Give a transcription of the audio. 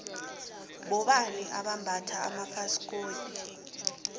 bobani abambatha amafasikodu